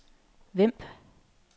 Vemb